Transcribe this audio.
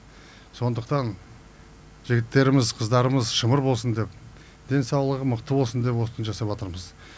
сондықтан жігіттеріміз қыздарымыз шымыр болсын деп денсаулығы мықты болсын деп осыны жасаватырмыз